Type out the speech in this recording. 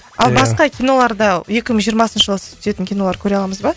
ал басқа киноларда екі мың жиырмасыншы жылы сіз түсетін кинолар көре аламыз ба